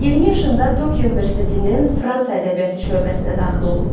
20 yaşında Tokio Universitetinin Fransa ədəbiyyatı şöbəsinə daxil olub.